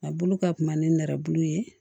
A bolo ka kuma ni nɛrɛbulu ye